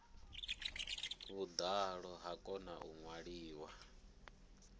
vhuḓalo ha kona u ṅwaliwa